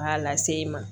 K'a lase i ma